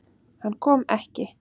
Hann kom ekki.